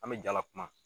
An bɛ jala kuma